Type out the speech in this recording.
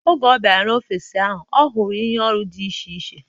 Oge ọ bịara n'ọfịs ahụ, ọ hụrụ ihe ọrụ dị iche iche